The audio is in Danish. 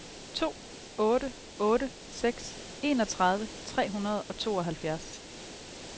to otte otte seks enogtredive tre hundrede og tooghalvfjerds